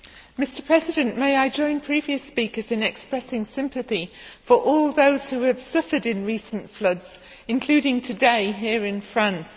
Mr President, may I join previous speakers in expressing sympathy for all those who have suffered in recent floods, including today here in France.